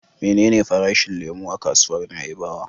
Menene farashin lemo a kasuwar Na'ibawa?